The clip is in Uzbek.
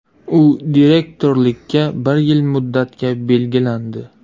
U direktorlikka bir yil muddatga belgilandi.